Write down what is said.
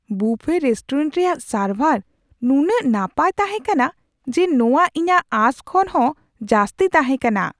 ᱵᱩᱯᱷᱮ restaurant ᱨᱮᱭᱟᱜ ᱥᱟᱨᱵᱷᱟᱨ ᱱᱩᱱᱟᱹᱜ ᱱᱟᱯᱟᱭ ᱛᱟᱦᱮᱸ ᱠᱟᱱᱟ ᱡᱮ ᱱᱚᱣᱟ ᱤᱧᱟᱹᱜ ᱟᱸᱥ ᱠᱷᱚᱱ ᱦᱚᱸ ᱡᱟᱹᱥᱛᱤ ᱛᱟᱦᱮᱸ ᱠᱟᱱᱟ ᱾